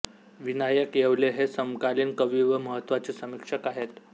विनायक येवले हे समकालीन कवी व महत्वाचे समीक्षक आहेत